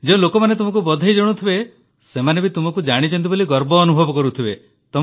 ଯେଉଁ ଲୋକମାନେ ତୁମକୁ ବଧାଇ ଜଣାଉଥିବେ ସେମାନେ ବି ତୁମକୁ ଜାଣିଛନ୍ତି ବୋଲି ଗର୍ବ ଅନୁଭବ କରୁଥିବେ